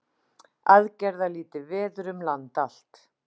Aðgerðalítið veður um land allt